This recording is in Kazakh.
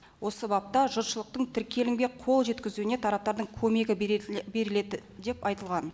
осы бапта жұртшылықтың тіркелімге қол жеткізуіне тараптардың көмегі беріледі деп айтылған